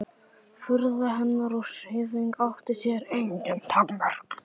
Furða hennar og hrifning átti sér engin takmörk.